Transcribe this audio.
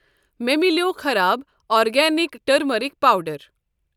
مےٚ مِلٮ۪و خراب آرگینِک ٹٔرمٔرک پاوڈر۔